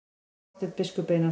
Marteinn biskup Einarsson.